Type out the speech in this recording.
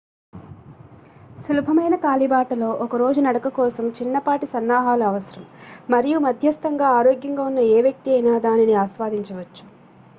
సులభమైన కాలిబాటలో ఒక రోజు నడక కోసం చిన్నపాటి సన్నాహాలు అవసరం మరియు మధ్యస్తంగా ఆరోగ్యంగా ఉన్న ఏ వ్యక్తి అయినా దానిని ఆస్వాదించవచ్చు